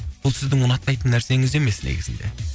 бұл сіздің ұнатпайтын нәрсеңіз емес негізінде